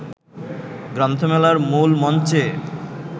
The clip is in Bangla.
গ্রন্থমেলার মূল মঞ্চে